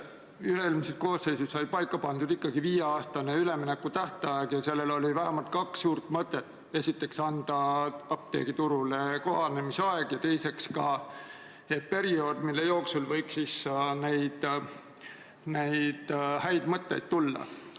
Üle-eelmises koosseisus sai paika pandud viie aasta pikkune üleminekuaeg ja sellel oli vähemalt kaks suurt mõtet: esiteks võimaldada apteegiturule kohanemisaega ja teiseks pidi see olema periood, mille jooksul võiks häid mõtteid tulla.